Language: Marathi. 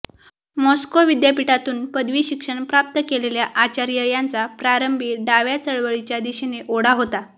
मॉस्को विद्यापीठातून पदवी शिक्षण प्राप्त केलेल्या आचार्य यांचा प्रारंभी डाव्या चळवळीच्या दिशेने ओढा होता